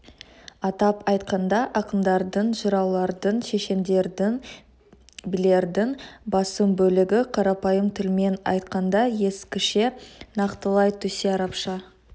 атап айтқанда ақындардың жыраулардың шешендердің билердің басым бөлігі қарапайым тілмен айтқанда ескіше нақтылай түссе арабша